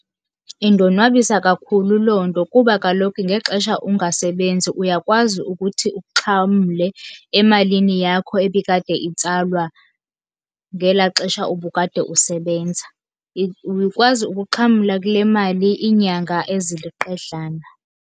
Indonwabisa kakhulu loo nto, kuba kaloku ngexesha ungasebenzi uyakwazi ukuthi uxhamle emalini yakho ebikade itsalwa ngelaa xesha ubukade usebenza. Ukwazi ukuxhamla kule mali iinyanga eziliqedlana.